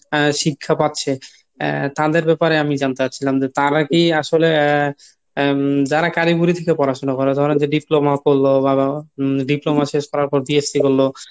শিক্ষা পাচ্ছে তাদের ব্যাপারে আমি জানতে চাচ্ছিলাম যে তারা কী আসলে আহ যারা কারিগরি থেকে পড়াশুনা করে অথবা যে Diploma করলো বা Diploma শেষ করার পর BSc করলো